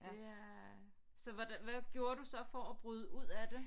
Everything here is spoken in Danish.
Det er så hvordan hvad gjorde du så for at bryde ud af det